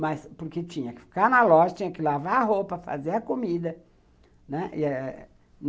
Mas porque tinha que ficar na loja, tinha que lavar a roupa, fazer a comida, né.